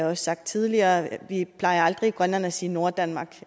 også sagt tidligere vi plejer aldrig i grønland at sige norddanmark